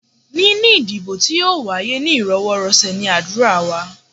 Níní ìdìbò tí yóò wáyé ní íròwọ́rọ̀sẹ̀ ní ádùrá wa.